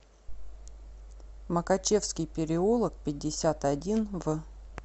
макачевский переулок пятьдесят один в